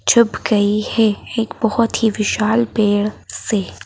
छुप गई है एक बहोत ही विशाल पेड़ से।